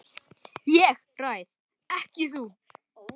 ÉG ræð EKKI þú.